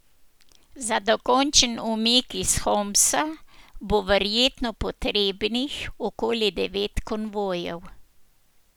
Za dokončen umik iz Homsa bo verjetno potrebnih okoli devet konvojev.